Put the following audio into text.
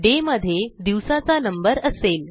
day मध्ये दिवसाचा number असेल